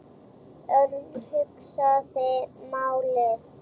Örn hugsaði málið.